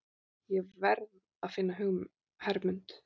Ég varð að finna Hermund.